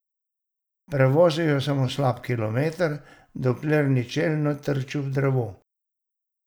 Prevozil je samo slab kilometer, dokler ni čelno trčil v drevo.